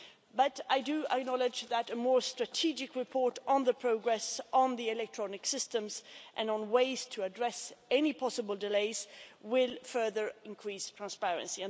But I do acknowledge that a more strategic report on the progress of the electronic systems and on ways to address any possible delays will further increase transparency.